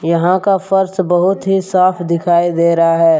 यहां का फर्श बहुत ही साफ दिखाई दे रहा है।